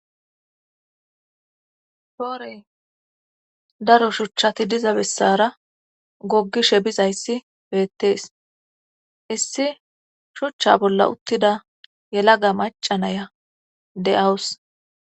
Poore daro shuchati diza bessara goggishe bizayssi beettes;issi shucha bolla uttida yelaga macca na7iya de7awus.